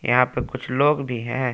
यहां पे कुछ लोग भी हैं।